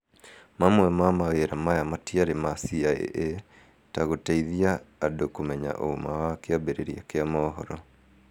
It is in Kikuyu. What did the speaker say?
Mamwe ma mawĩra maya matĩarĩ ma CIA ta gũteithia andũ kũmenya ũma wa kĩambĩrĩria kĩa mohoro